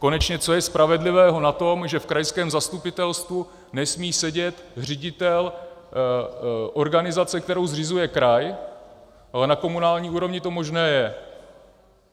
Konečně co je spravedlivého na tom, že v krajském zastupitelstvu nesmí sedět ředitel organizace, kterou zřizuje kraj, ale na komunální úrovni to možné je?